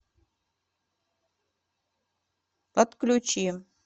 отключи